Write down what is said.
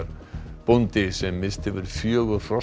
bóndi sem misst hefur fjögur hross